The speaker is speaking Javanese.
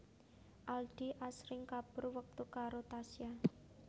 Aldi asring kabur wektu karo Tasya